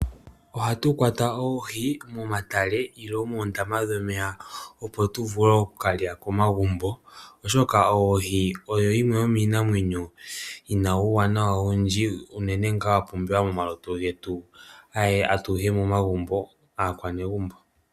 Ohatu kwata oohi momatale nenge moondama dhomeya opo tu vule oku kalya komagumbo oshoka oohi odho dhimwe dhomiinamwenyo yina uuwanawa owudji unene wa pumbiwa momalutu getu atuhe aanegumbo.